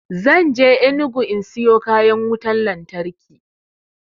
Zan je enugu in siyo kayan wutan lantarki